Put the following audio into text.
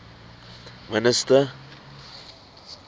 minister